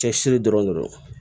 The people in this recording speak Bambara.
Cɛsiri dɔrɔn de do